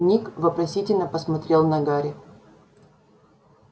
ник вопросительно посмотрел на гарри